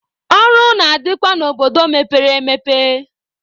Ọrụ na-adịkwa n'obodo mepere emepe.